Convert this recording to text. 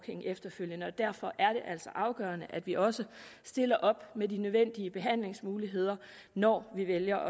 efterfølgende og derfor er det altså afgørende at vi også stiller op med de nødvendige behandlingsmuligheder når vi vælger